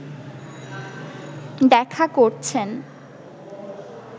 দেখা করছেন